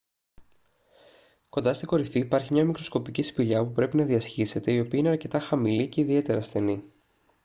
κοντά στην κορυφή υπάρχει μια μικροσκοπική σπηλιά που πρέπει να διασχίσετε η οποία είναι αρκετά χαμηλή και ιδιαίτερα στενή